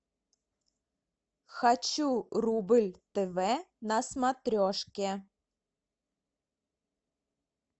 хочу рубль тв на смотрешке